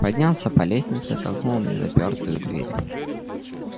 поднялся по лестнице толкнул незапертую дверь